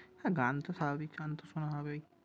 হ্যাঁ গানতো স্বাভাবিক চয়নতো শোনা হবেই।